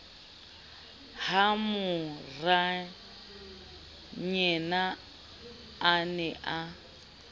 ha morayena a ne a